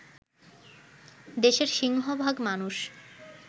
দেশের সিংহভাগ মানুষ